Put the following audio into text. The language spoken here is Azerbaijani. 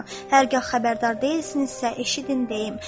Hərgah xəbərdar deyilsinizsə, eşidin deyim.